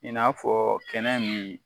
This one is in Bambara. I n'a fɔ kɛnɛ min